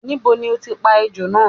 Níbo ni o ti pa ejò náà?